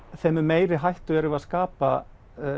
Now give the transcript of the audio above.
þeim mun meiri hættu erum við að skapa